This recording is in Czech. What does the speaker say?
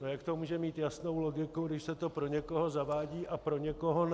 No jak to může mít jasnou logiku, když se to pro někoho zavádí a pro někoho ne?